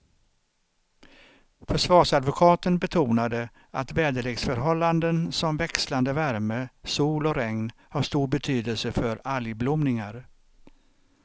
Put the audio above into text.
Försvarsadvokaten betonade att väderleksförhållanden som växlande värme, sol och regn har stor betydelse för algblomningar.